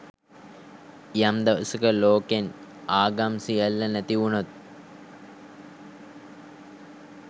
යම් දවසක ලෝකෙන් ආගම් සියල්ල නැති වුනොත්